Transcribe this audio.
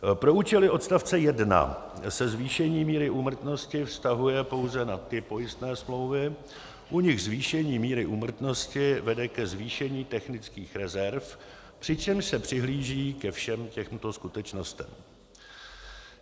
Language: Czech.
Pro účely odstavce 1 se zvýšení míry úmrtnosti vztahuje pouze na ty pojistné smlouvy, u nichž zvýšení míry úmrtnosti vede ke zvýšení technických rezerv, přičemž se přihlíží ke všem těmto skutečnostem: